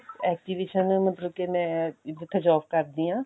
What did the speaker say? exhibition ਮਤਲਬ ਕੇ ਮੈਂ ਜਿਥੇ job ਕਰਦੀ ਆਂ